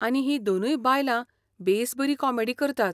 आनी हीं दोनूय बायलां बेस बरी कॉमेडी करतात.